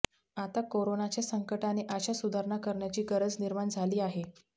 आता कोरोनाच्या संकटाने अशा सुधारणा करण्याची गरज निर्माण झाली आहे